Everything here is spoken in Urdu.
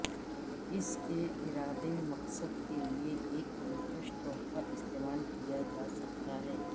اس کے ارادہ مقصد کے لئے ایک دلکش تحفہ استعمال کیا جا سکتا ہے